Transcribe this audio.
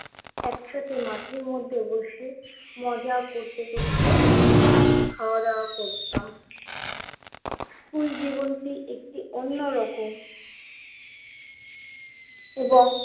একসাথে মাঠের মধ্যে বসে মজা করতে করতে খাওয়া-দাওয়া করতাম। স্কুল জীবনটি একটি অন্যরকম এবং